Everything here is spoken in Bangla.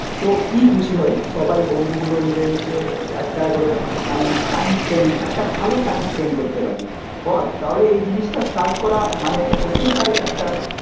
তো কি খুশি হই সবাই বন্ধুগুলো মিলে মিশে একটা করে মানে টাইম স্পেন্ড একটা ভালো টাইম স্পেন্ড করতে পারি বল? তাহলে এই জিনিসটা স্টার্ট করা মানে হতেই পারে একটা